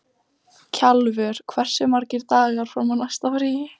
Kjalvör, hversu margir dagar fram að næsta fríi?